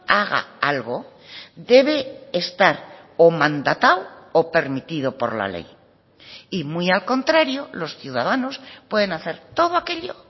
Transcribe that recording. haga algo debe estar o mandatado o permitido por la ley y muy al contrario los ciudadanos pueden hacer todo aquello